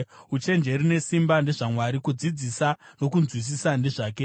“Uchenjeri nesimba ndezvaMwari; kudzidzisa nokunzwisisa ndezvake.